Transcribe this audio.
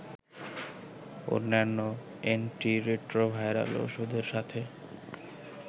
অন্যান্য অ্যান্টিরেট্রোভাইরাল ঔষধের সাথে